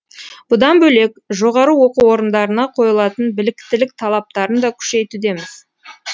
бұдан бөлек жоғары оқу орындарына қойылатын біліктілік талаптарын да күшейтудеміз